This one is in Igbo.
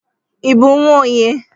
I bụ nnwa onye?